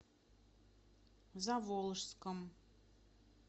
заволжском